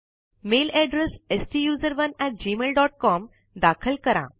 mail address STUSERONEgmailcom दाखल करा